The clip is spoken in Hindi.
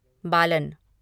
बालन